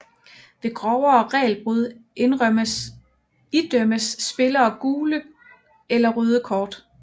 Ved grovere regelbrud idømmes spillerne gule eller røde kort